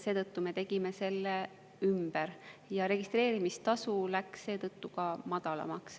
Seetõttu me tegime selle ümber ja registreerimistasu läks seetõttu ka madalamaks.